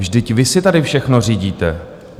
Vždyť vy si tady všechno řídíte.